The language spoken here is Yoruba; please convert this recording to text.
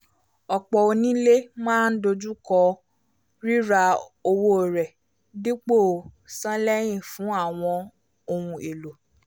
ọ̀pọ̀ onílé máa ń dojú kọ́ rira owó rẹ̀ dipo san lẹ́yìn fún àwọn ohun èlò